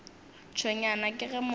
tshwenywa ke ge motho yo